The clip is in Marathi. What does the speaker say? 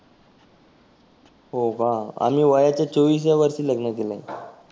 हो का आम्ही वयाच्या चोविसव्या वर्षी लग्न केलं आहे.